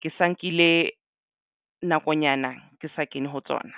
ke sa nkile nakonyana ke sa kene ho tsona.